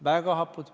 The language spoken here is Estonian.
Väga hapud.